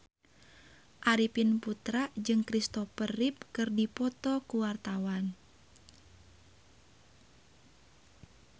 Arifin Putra jeung Kristopher Reeve keur dipoto ku wartawan